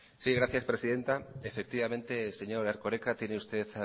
gracias presidenta efectivamente señor erkoreka tiene usted